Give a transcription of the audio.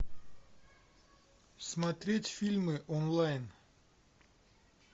смотреть фильмы онлайн